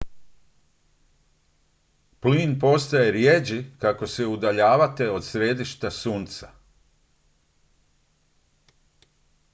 plin postaje rijeđi kako se udaljavate od središta sunca